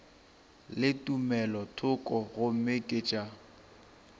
le tumelothoko gomme ke tša